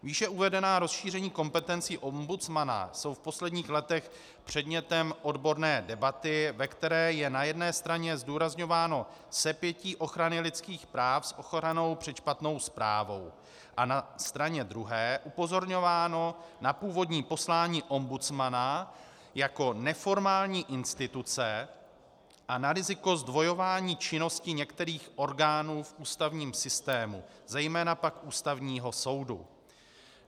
Výše uvedená rozšíření kompetencí ombudsmana jsou v posledních letech předmětem odborné debaty, ve které je na jedné straně zdůrazňováno sepětí ochrany lidských práv s ochranou před špatnou správou a na straně druhé upozorňováno na původní poslání ombudsmana jako neformální instituce a na riziko zdvojování činnosti některých orgánů v ústavním systému, zejména pak Ústavního soudu.